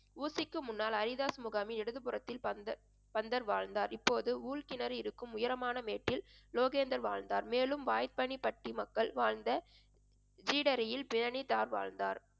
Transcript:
ஊசிக்கு முன்னாள் ஹரிதாஸ் முகாமில் இடது புறத்தில் பந்த~ பந்தர் வாழ்ந்தார். இப்போது ஊழ்கிணறு இருக்கும் உயரமான மேற்கில் லோகேந்தர் வாழ்ந்தார் மேலும் பாய்பனிபட்டி மக்கள் வாழ்ந்த ஜீடரையில் பிரணிதார் வாழ்ந்தார்